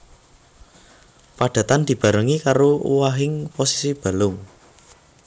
Padatan dibarengi karo owahing posisi balung